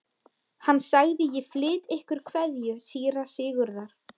Hann sagði: Ég flyt ykkur kveðju síra Sigurðar.